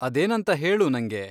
ಅದೇನಂತ ಹೇಳು ನಂಗೆ.